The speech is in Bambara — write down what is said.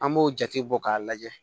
An b'o jate bɔ k'a lajɛ